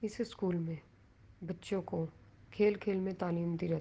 اس school مے بچھو کو کھل-کھل مے تعلیم دی جاتی--